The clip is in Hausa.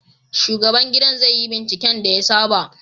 Shugaban gidan zai yi binciken da ya saba